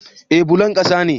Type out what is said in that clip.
Eh bullon ƙasa ne